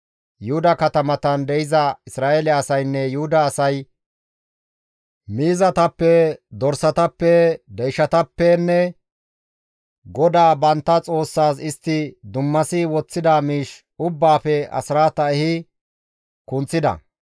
Yuhuda katamatan de7iza Isra7eele asaynne Yuhuda asay miizatappe, dorsatappe, deyshatappenne GODAA bantta Xoossaas istti dummasi woththida miish ubbaafe asraata ehi kunththida.